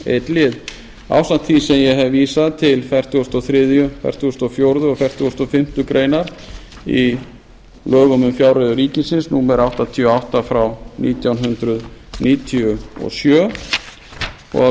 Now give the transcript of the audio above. hvern og einn lið ásamt því sem ég hef vísað til fertugasta og þriðja fertugasta og fjórða og fertugasta og fimmtu grein í lögum um fjárreiður ríkisins númer áttatíu og átta nítján hundruð níutíu og sjö og